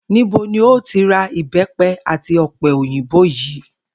Níbo ni o ti ra ìbé̩pe̩ àti ò̩pe̩ òyìnbó yìí?